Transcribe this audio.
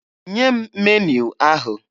Nye m meniu ahụ!